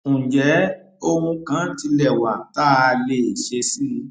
ǹjẹ ohun kan tilẹ wà tá a lè ṣe sí i